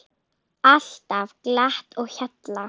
Alltaf glatt á hjalla.